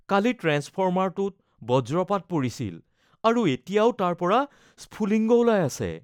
কালি ট্ৰেন্সফৰ্মাৰটোত বজ্ৰপাত পৰিছিল আৰু এতিয়াও তাৰ পৰা স্ফুলিংগ ওলাই আছে